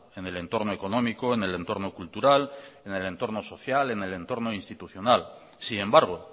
en el entorno económico en el entorno cultural en el entorno social en el entorno institucional sin embargo